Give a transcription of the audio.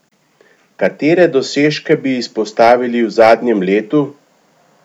Katere dosežke bi izpostavili v zadnjem letu?